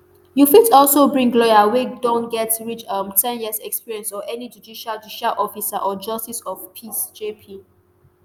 you fit also bring lawyer wey don get reach um ten years experience or any judicial judicial officer or justice of peace jp